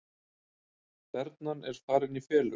Þernan er farin í felur